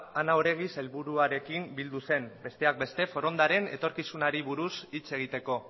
ana oregi sailburuaren bildu zen besteak beste forondaren etorkizunari buruz hitz egiteko